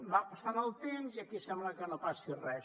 va passant el temps i aquí sembla que no passi res